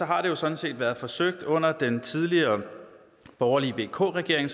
har det jo sådan set været forsøgt under den tidligere borgerlige vk regering